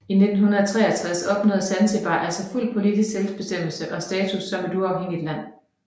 I 1963 opnåede Zanzibar altså fuld politisk selvbestemmelse og status som et uafhængigt land